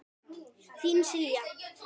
Þín, Silja.